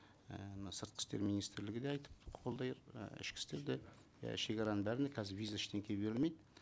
і мына сыртқы істер министрлігі де айтып қолдай і ішкі істер де иә шегараның бәріне қазір виза ештене берілмейді